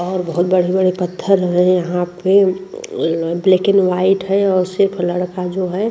और बोहोत बड़े-बड़े पत्थर हैं यहाँ पे ब्लैक एण्ड व्हाइट है और सिर्फ लड़का जो है --